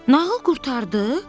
Nağıl qurtardı?